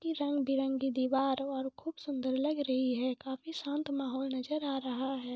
इसकी रंग बिरंगे दिवार बहुत खूब सुन्दर लग रही है काफी शांत माहौल नज़र आ रहा है।